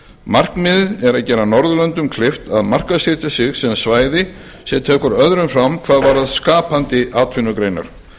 markmiðið er að gera norðurlöndum kleift að markaðssetja sig sem svæði sem tekur öðrum fram hvað varðar skapandi atvinnugreinar